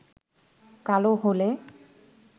কালো হলে